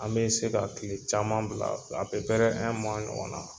An be se ka kile caman bila ɲɔgɔn na.